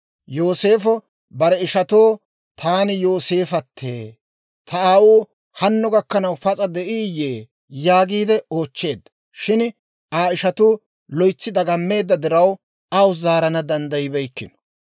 Yooseefo bare ishatoo, «Taani Yooseefattee! Ta aawuu hanno gakkanaw pas'a de'iiyye?» yaagiide oochcheedda. Shin Aa ishatuu loytsi dagammeedda diraw, aw zaarana danddayibeykkino.